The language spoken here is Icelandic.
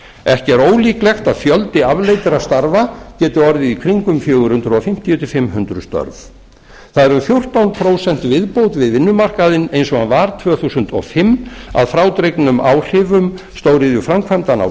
ekki er ólíklegt að fjöldi afleiddra starfa geti orðið í kringum fjögur hundruð fimmtíu til fimm hundruð störf það er um fjórtán prósent viðbót við vinnumarkaðinn eins og hann var tvö þúsund og fimm að frádregnum áhrifum stóriðjuframkvæmdanna á